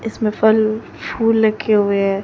इसमें फल फूल रखे हुए हैं।